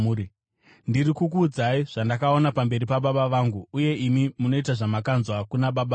Ndiri kukuudzai zvandakaona pamberi paBaba vangu, uye imi munoita zvamakanzwa kuna baba venyu.”